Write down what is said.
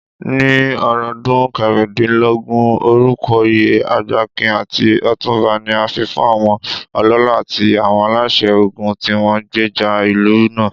Ní ọ̀rúndún kẹrìndínlógún, orúkọoyè Agbakin àti Otunba ni a fifún àwọn ọlọ́lá àti àwọn aláṣẹ ogun tíwọ́n gbèjà ìlú náà.